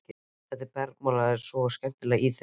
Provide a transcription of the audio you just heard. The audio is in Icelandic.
Það bergmálaði svo skemmtilega í þeim.